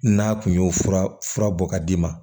N'a kun y'o fura fura bɔ k'a d'i ma